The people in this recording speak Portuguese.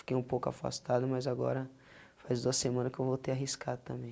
Fiquei um pouco afastado, mas agora faz duas semanas que eu voltei a arriscar também.